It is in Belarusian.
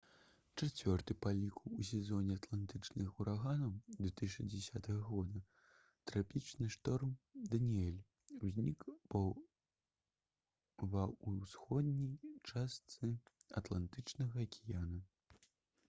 чацвёрты па ліку ў сезоне атлантычных ураганаў 2010 года трапічны шторм «даніэль» узнік ва ўсходняй частцы атлантычнага акіяна